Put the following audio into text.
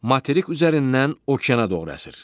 Materik üzərindən okeana doğru əsir.